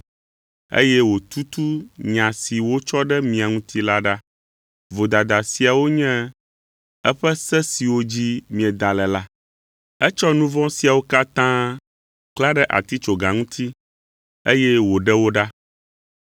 eye wòtutu nya si wotsɔ ɖe mia ŋuti la ɖa, vodada siawo nye eƒe se siwo dzi mieda le la. Etsɔ nu vɔ̃ siawo katã klã ɖe atitsoga ŋuti, eye wòɖe wo ɖa.